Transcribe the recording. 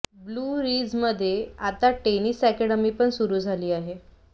blue Ridge मध्ये आता tennis academy पण सुरू झाली आहे